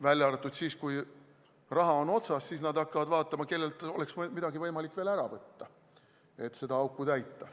Välja arvatud siis, kui raha on otsas, siis nad hakkavad vaatama, kellelt oleks midagi võimalik veel ära võtta, et seda auku täita.